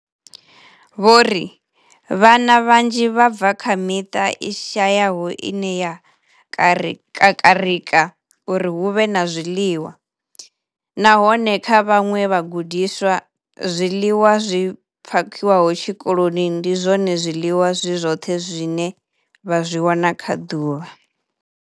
Vho ri, Vhana vhanzhi vha bva kha miṱa i shayaho ine ya kakarika uri hu vhe na zwiḽiwa, nahone kha vhaṅwe vhagudiswa, zwiḽiwa zwi phakhiwaho tshikoloni ndi zwone zwiḽiwa zwi zwoṱhe zwine vha zwi wana kha ḓuvha.